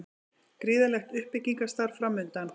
Gríðarlegt uppbyggingarstarf framundan